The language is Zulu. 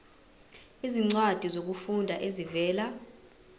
izincwadi zokufunda ezivela